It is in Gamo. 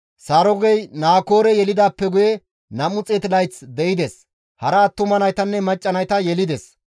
Sarugey Naakoore yelidaappe guye 200 layth de7ides; hara attuma naytanne macca nayta yelides.